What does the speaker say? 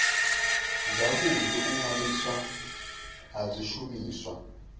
zwavhudi u ṅwaliswa ha zwishumiswa